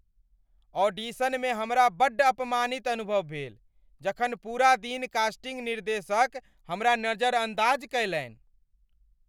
ऑडिशनमे हमरा बड्ड अपमानित अनुभव भेल जखन पूरा दिन कास्टिंग निर्देशक हमरा नजरअन्दाज कयलनि।